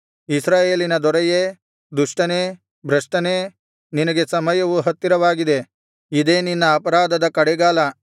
ಇಸ್ರಾಯೇಲಿನ ದೊರೆಯೇ ದುಷ್ಟನೇ ಭ್ರಷ್ಟನೇ ನಿನಗೆ ಸಮಯವು ಹತ್ತಿರವಾಗಿದೆ ಇದೇ ನಿನ್ನ ಅಪರಾಧದ ಕಡೆಗಾಲ